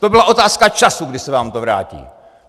To byla otázka času, kdy se vám to vrátí!